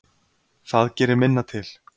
Það gerir minna til.